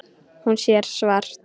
Hún sér svart.